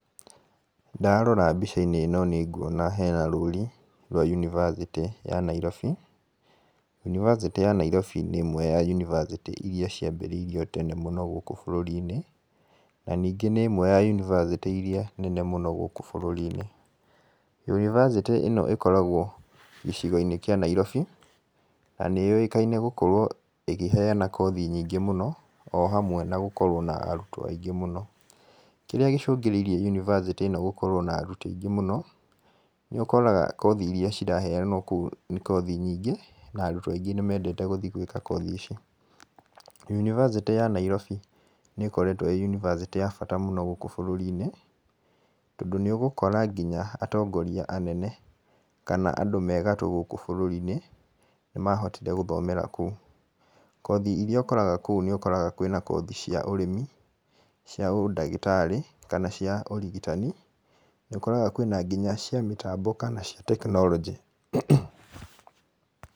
Ndarora mbica-inĩ ĩno nĩ nguona hena rũri rwa yunivasĩtĩ ya Nairobi. Yunivasĩtĩ ya Nairobi nĩ ĩmwe ya yunivasĩtĩ irĩa ciambĩrĩirio tene mũno gũkũ bũrũri-inĩ. Na ningĩ nĩ ĩmwe ya yunivasĩtĩ irĩa nene mũno gũkũ bũrũri-inĩ. Yunivasĩtĩ ĩno ĩkoragwo gĩcigo-inĩ kĩa Nairobi na nĩ yũĩkaine gũkorwo ĩkĩheana kothi nyingĩ mũno o hamwe na gũkorwo na arutwo aingĩ mũno. Kĩrĩa gĩcũngĩrĩirie yunivasĩtĩ ĩno gũkorwo na arutwo aingĩ mũno, nĩ ũkoraga kothi irĩa ciraheanwo kũu nĩ kothi nyingĩ na arutwo aingĩ nĩ mendete gũthiĩ gwĩka kothi ici. Yunivasĩtĩ ya Nairobi nĩ ĩkoretwo ĩĩ yunivasĩtĩ ya bata mũno gũkũ bũrũri-inĩ, tondũ nĩ ũgũkora nginya atongoria anene kana andũ me gatũ gũkũ bũrũri-inĩ, nĩ mahotire gũthomera kũu. Kothi irĩa ũkoraga kũu nĩ ũkoraga kwĩna kothi cia ũrĩmi, cia ũndagĩtarĩ kana cia ũrigitani, nĩ ũkoraga kwĩna nginya cia mĩtambo kana cia tekinoronjĩ.